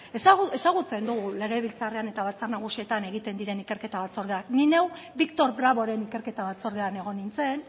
ezagutzen dugu legebiltzarrean eta batzar nagusietan egiten diren ikerketa batzordeak ni neu victor bravoren ikerketa batzordean egon nintzen